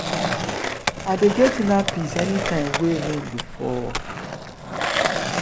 i dey get inner peace anytime wey rain dey fall.